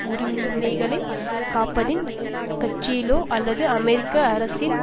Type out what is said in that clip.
உரிமைகளை காப்பதில் கட்சியிலோ அல்லது அமெரிக்க அரசியல்